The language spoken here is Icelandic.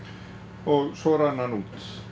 og svo rann hann út